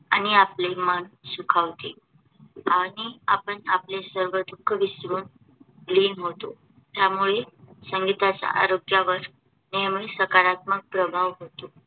आणि आपले मन सुखावते आणि आपण आपले सर्व दुःख विसरून लीन होतो. त्यामुळे संगीताचा आरोग्यावर नेहमी सकारात्मक प्रभाव होतो.